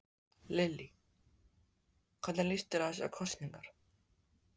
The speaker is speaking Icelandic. Lillý: Hvernig líst þér á þessar kosningar?